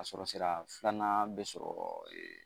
A sɔrɔ sira filanan bɛ sɔrɔ